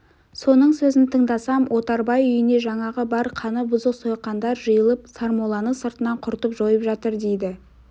соның сөзін тыңдасам отарбай үйіне жаңағы бар қаны бұзық сойқандар жиылып сармолланы сыртынан құртып жойып жатыр дейді